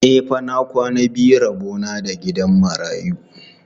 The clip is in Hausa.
E fa, na kwana biyu rabo na da gidan marayu.